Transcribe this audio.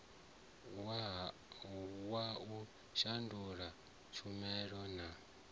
wa u shandula tshumela na